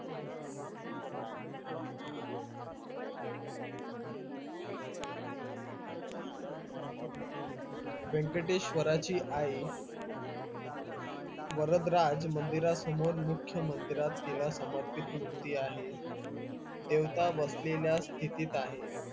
यंकटेश्वराची आई वरदराज मंदिरासमोर मुख्या मंदिरात तिला समर्पित मूर्ती आहे देवता बसलेल्या स्थितीत आहे